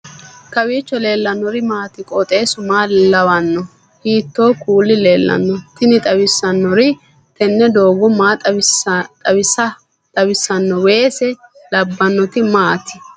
kowiicho leellannori maati ? qooxeessu maa lawaanno ? hiitoo kuuli leellanno ? tini xawissannori tini doogo maa xawissanno weese labbnnoti maati